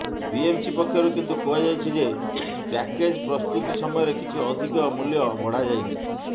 BMC ପକ୍ଷରୁ କିନ୍ତୁ କୁହାଯାଇଛି ଯେ ପ୍ୟାକେଜ୍ ପ୍ରସ୍ତୁତି ସମୟରେ କିଛି ଅଧିକ ମୂଲ୍ୟ ବଢ଼ାଯାଇନି